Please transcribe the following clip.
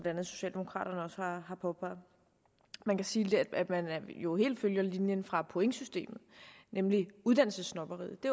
andet socialdemokraterne også har påpeget vi kan sige at man jo helt følger linjen fra pointsystemet nemlig uddannelsessnobberiet det